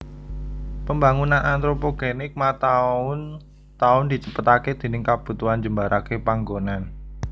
Pembangunan antropogenik mataun taun dicepetaké déning kabutuhan njembaraké panggonan